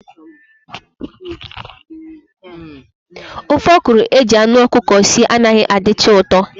Ofe okro eji anụ ọkụkọ sie anaghị adịcha ụtọ